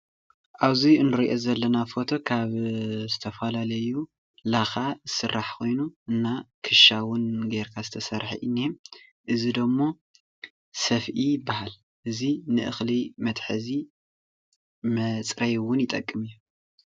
ኣብዚ እንረኦ ዘለና ፎቶ ካብ ዝተፈላለዩ ላካ ዝስራሕ ኮይኑ እና ክሻ እውን ጌርካ ዝተሰርሐ እነአ፡፡ እዚ ደሞ ሰፍኢ ይባሃል፡፡ እዚ ንእክሊ መትሐዚ መፅረይ እውን ይጠቅም እዩ፡፡